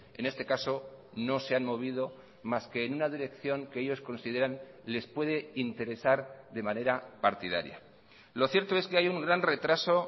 en este caso no se han movido más que en una dirección que ellos consideran les puede interesar de manera partidaria lo cierto es que hay un gran retraso